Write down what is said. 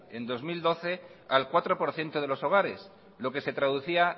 en dos mil doce al cuatro por ciento de los hogares lo que se traducía